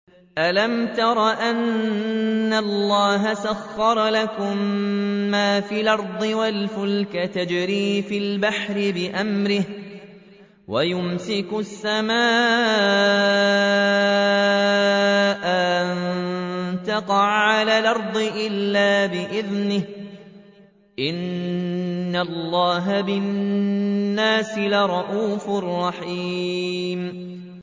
أَلَمْ تَرَ أَنَّ اللَّهَ سَخَّرَ لَكُم مَّا فِي الْأَرْضِ وَالْفُلْكَ تَجْرِي فِي الْبَحْرِ بِأَمْرِهِ وَيُمْسِكُ السَّمَاءَ أَن تَقَعَ عَلَى الْأَرْضِ إِلَّا بِإِذْنِهِ ۗ إِنَّ اللَّهَ بِالنَّاسِ لَرَءُوفٌ رَّحِيمٌ